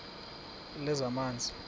lezamanzi